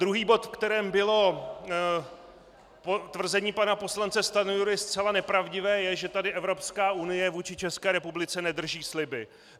Druhý bod, ve kterém bylo tvrzení pana poslance Stanjury zcela nepravdivé, je, že tady Evropská unie vůči České republice nedrží sliby.